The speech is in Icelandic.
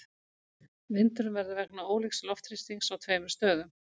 Vindurinn verður vegna ólíks loftþrýstings á tveimur stöðum.